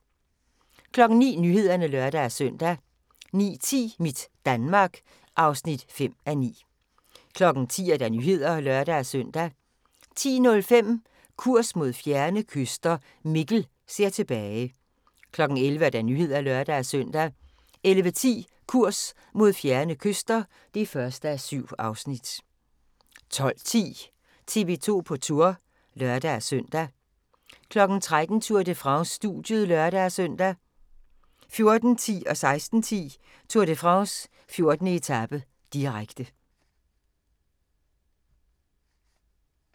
09:00: Nyhederne (lør-søn) 09:10: Mit Danmark (5:9) 10:00: Nyhederne (lør-søn) 10:05: Kurs mod fjerne kyster – Mikkel ser tilbage 11:00: Nyhederne (lør-søn) 11:10: Kurs mod fjerne kyster (1:7) 12:10: TV 2 på Tour (lør-søn) 13:00: Tour de France: Studiet (lør-søn) 14:10: Tour de France: 14. etape, direkte 16:10: Tour de France: 14. etape, direkte